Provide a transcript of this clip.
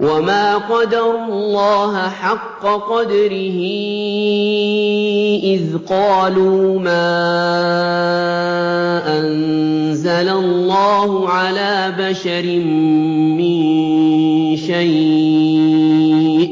وَمَا قَدَرُوا اللَّهَ حَقَّ قَدْرِهِ إِذْ قَالُوا مَا أَنزَلَ اللَّهُ عَلَىٰ بَشَرٍ مِّن شَيْءٍ ۗ